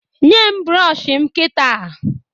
Nye m brọọshị m kịta!